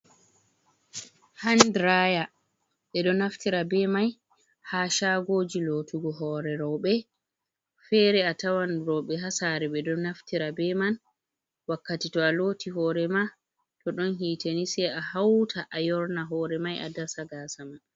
Handiraya ɓeɗo naftira be mai ha shagoji lotugo hore raube fere a tawan raube ha sare ɓeɗo naftira be man wakkati to a loti hore ma to ɗon hiteni sei a hauta a yorna hore mai a dasa gasa ma.